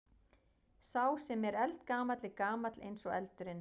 Sá sem er eldgamall er gamall eins og eldurinn.